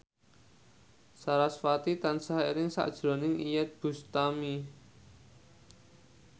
sarasvati tansah eling sakjroning Iyeth Bustami